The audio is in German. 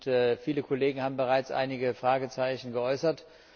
Und viele Kollegen haben bereits einige Fragezeichen geäußert.